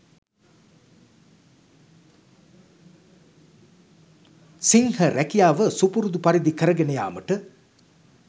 සිංහ රැකියාව සුපුරුදු පරිදි කරගෙන යාමට